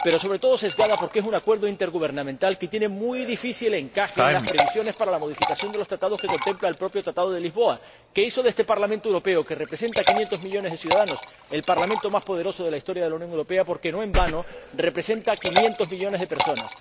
Pero, sobre todo, sesgada, porque es un acuerdo intergubernamental que tiene muy difícil encaje en las previsiones para la modificación de los Tratados que contempla el propio Tratado de Lisboa, que hizo de este Parlamento Europeo, que representa a 500 millones de ciudadanos, el Parlamento más poderoso de la historia de la Unión Europea porque, no en vano, representa a 500 millones de personas.